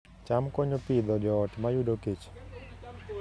cham konyo Pidhoo joot mayudo kech